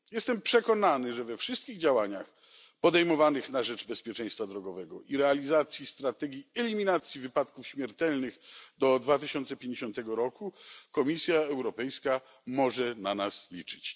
Jestem przekonany, że we wszystkich działaniach podejmowanych na rzecz bezpieczeństwa drogowego i realizacji strategii eliminacji wypadków śmiertelnych do 2050 roku Komisja Europejska może na nas liczyć.